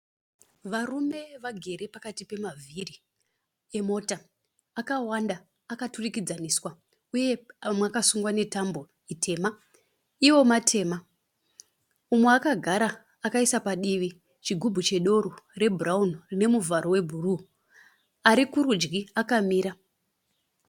Varume vagere pakati pemavhiri emota akawanda, akaturikidzaniswa uye amwe akasungwa netambo tema. Iwo matema. Umwe akagara akaisa padivi chigubhu chedoro chebhurawuni chine muvharo webhuruu. Ari kurudyi akamira.